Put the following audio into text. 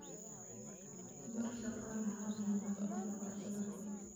Bar shaqaalahaaga nadaafadda cooshadaha.